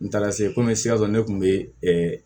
N taara se komi sikaso ne kun be